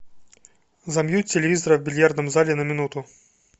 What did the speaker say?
замьють телевизора в бильярдном зале на минуту